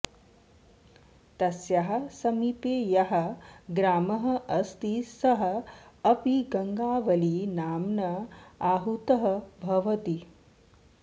तस्याः समीपे यः ग्रामः अस्ति सः अपि गङ्गावळी नाम्ना आहूतः भवति